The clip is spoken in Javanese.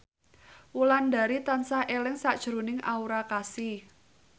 Wulandari tansah eling sakjroning Aura Kasih